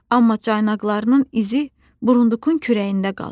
Amma caynaqlarının izi burundukun kürəyində qalır.